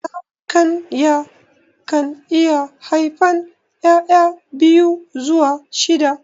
Zakayan kan iya haifan ƴaƴa biyu zuwa shida